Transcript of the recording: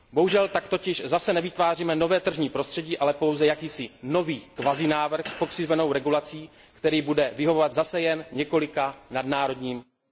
Bohužel tak totiž zase nevytváříme nové tržní prostředí, ale pouze jakýsi nový kvazi návrh s pokřivenou regulací, který bude vyhovovat zase jen několika nadnárodním oligopolním hráčům.